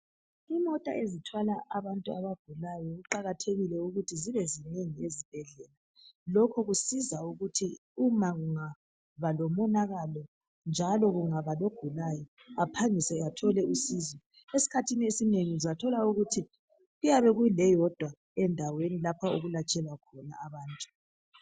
Imota ezithwala abantu abagulayo kuqakathekile ukuthi zibe zinengi ezibhedlela. Lokho kusiza ukuthi uma kungaba lomonakalo, njalo kungaba logulayo aphangise athole usizo. Esikhathini esinengi uzathola ukuthi kuyabe keleyodwa endaweni lapho okulatshelwa khona abantu.